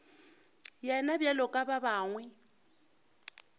yena bjalo ka ba bangwe